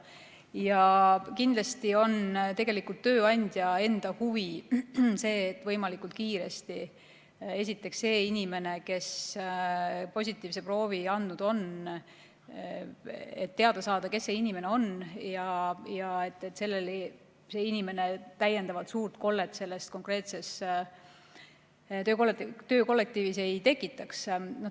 Tegelikult on ju ka tööandja enda huvides, et võimalikult kiiresti teada saada, kes see inimene on, kes positiivse proovi on andnud, et see inimene suurt kollet selles konkreetses töökollektiivis ei tekitaks.